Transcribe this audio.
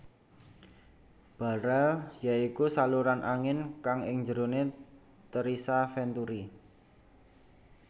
Barel ya iku saluran angin kang ing jerone terisa venturi